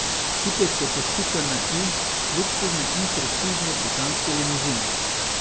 Kipec je kot pika na i luksuzne in prestižne britanske limuzine.